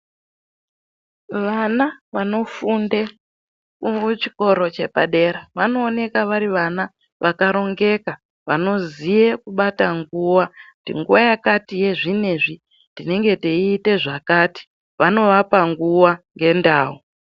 Vana vanofunde muchikora chepadera vanooneka vari vana vakarongeka, vanoziye kubata nguwa. Kuti nguwa yakati yezvinezvi tinenge teiite zvakati. Vanovapa nguwa ngendau.